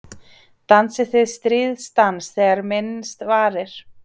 Dansið þið stríðsdans þegar minnst varir?